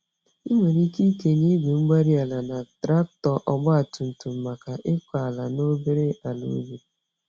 Ị nwere ike ikenye Igwe-mgbárí-ala na traktọ ọgba tum tum maka ịkọ ala na obere àlà ubi